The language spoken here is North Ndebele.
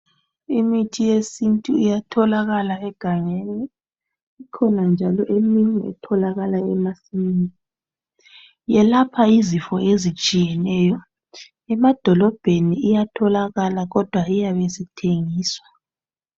Imithi yesintu itholakala egangeni, ikhona njalo eminye etholakala emasimini. Iyelapha izifo ezitshiyeneyo Emadolobheni iyatholakala kodwa iyabe isithengiswa.